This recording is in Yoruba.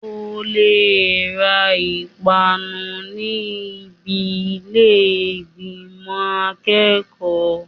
O lè ra ìpanu ní ibi ilé ìgbìmò akẹ́kọ̀ọ́.